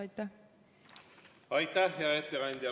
Aitäh, hea ettekandja!